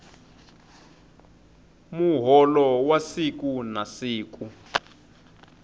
muholo wa siku na siku